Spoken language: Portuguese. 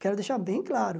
Quero deixar bem claro.